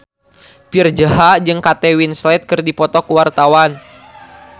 Virzha jeung Kate Winslet keur dipoto ku wartawan